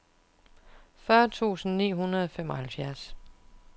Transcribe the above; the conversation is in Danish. fyrre tusind ni hundrede og femoghalvfjerds